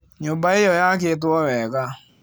Nyũmba ĩyo yakĩtwo wega.